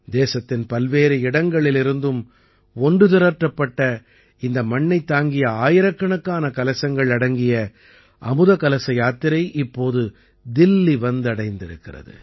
தேசத்தின் பல்வேறு இடங்களிலிருந்தும் ஒன்று திரட்டப்பட்ட இந்த மண்ணைத் தாங்கிய ஆயிரக்கணக்கான கலசங்கள் அடங்கிய அமுத கலச யாத்திரை இப்போது தில்லி வந்தடைந்திருக்கிறது